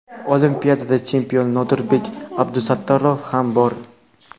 olimpiada chempioni Nodirbek Abdusattorov ham bor.